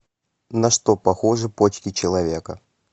на что похожи почки человека